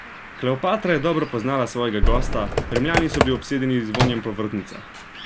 Kleopatra je dobro poznala svojega gosta, Rimljani so bili obsedeni z vonjem po vrtnicah.